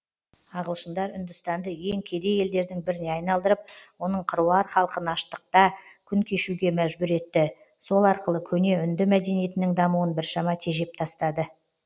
ағылшындар үндістанды ең кедей елдердің біріне айналдырып оның қыруар халқын аштықта күн кешуге мәжбүр етті сол арқылы көне үнді мәдениетінің дамуын біршама тежеп тастады